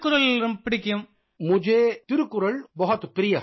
पोन मरियप्पन पोन मरियप्पन मुझे तिरुकुरुल बहुत प्रिय है